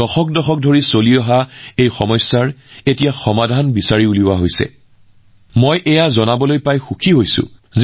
দশক দশক ধৰি চলি অহা এই সমস্যাৰ সমাধান এতিয়া বিচাৰি পোৱা গৈছে